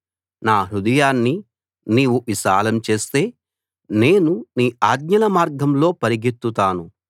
నా హృదయాన్ని నీవు విశాలం చేస్తే నేను నీ ఆజ్ఞల మార్గంలో పరిగెత్తుతాను